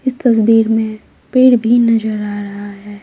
इस तस्वीर में पेड़ भी नजर आ रहा है।